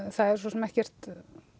það er svo sem ekkert